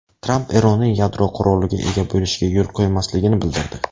Tramp Eronning yadro quroliga ega bo‘lishga yo‘l qo‘ymasligini bildirdi.